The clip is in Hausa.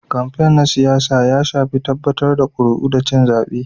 kamfain na siyasa ya shafi tabbatar da ƙuri'u da cin zaɓe.